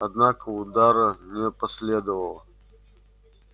однако удара не последовало